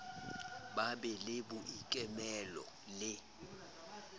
ba be le boikemelo le